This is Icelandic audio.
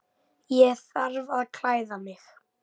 Ég þarf að klæða mig.